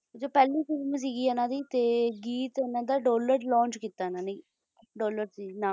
ਜੋ ਪਹਿਲੀ ਫਿਲਮ ਸੀਗੀ ਇਨ੍ਹਾਂ ਦੀ ਤੇ ਗੀਤ ਇਨ੍ਹਾਂ ਨੇ ਡਾਲਰ launch ਕੀਤਾ ਇਨ੍ਹਾਂ ਨੇ ਡਾਲਰ ਸੀ ਨਾਮ